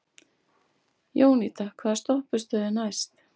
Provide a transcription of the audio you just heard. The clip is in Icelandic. Jónída, hvaða stoppistöð er næst mér?